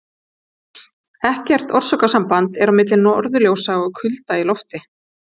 Ekkert orsakasamband er á milli norðurljósa og kulda í lofti.